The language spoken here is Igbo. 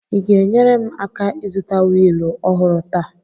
Ị ga-enyere m aka ịzụta wịịlụ ọhụrụ taa?